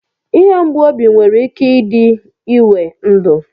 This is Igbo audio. Ihe mgbụ obi nwere ike ịdị ịwé ndụ